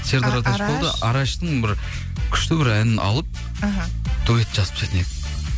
араштың бір күшті бір әнін алып іхі дуэт жазып тастайтын едім